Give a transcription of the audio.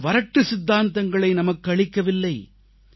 அவர் வறட்டு சித்தாந்தங்களை நமக்கு அளிக்கவில்லை